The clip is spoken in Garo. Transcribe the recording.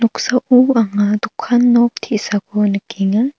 noksao anga dokan nok te·sako nikenga.